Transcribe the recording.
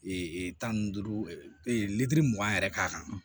tan ni duuru litiri mugan yɛrɛ k'a kan